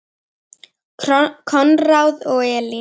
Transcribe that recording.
Konráð og Elín.